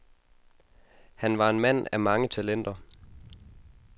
Han var en mand af mange talenter.